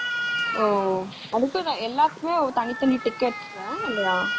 ஓ எல்லாத்துக்குமே தனி, தனி tickets ஆஹ் இல்லையா